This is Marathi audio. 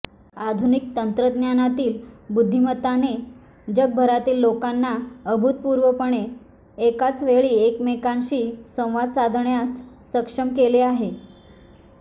आधुनिक तंत्रज्ञानातील बुद्धिमत्तााने जगभरातील लोकांना अभूतपूर्वपणे एकाच वेळी एकमेकांशी संवाद साधण्यास सक्षम केले आहे